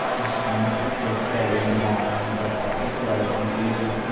push மன்னிப்புக்கேட்க வேண்டுமா என்ற பத்திரிகையாளரின் கேள்விக்கு